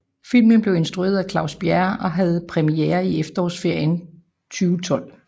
Filmen blev instrueret af Claus Bjerre og havde premiere i efterårsferien 2012